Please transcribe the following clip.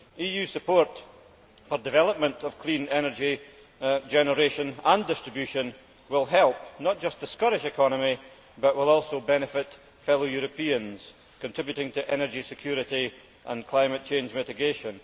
EU support for development of clean energy generation and distribution will help not just the Scottish economy, but will also benefit fellow Europeans, contributing to energy security and climate change mitigation.